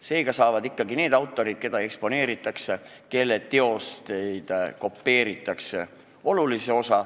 Seega saavad suure osa ikkagi need autorid, keda eksponeeritakse ja kelle teoseid kopeeritakse.